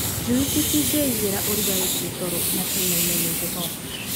njui citingĩigĩra ũrugarĩ ciatorwo na cinaine nĩ heho.